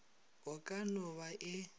e ka no ba e